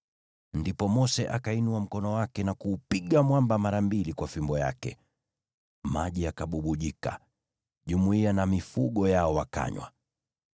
Ndipo Mose akainua mkono wake na kuupiga mwamba mara mbili kwa fimbo yake. Maji yakabubujika, nayo jumuiya na mifugo yao wakanywa.